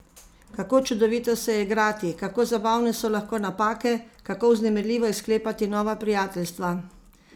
Kako čudovito se je igrati, kako zabavne so lahko napake, kako vznemirljivo je sklepati nova prijateljstva!